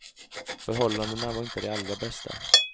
Förhållandena var inte de allra bästa.